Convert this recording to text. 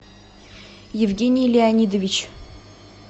евгений леонидович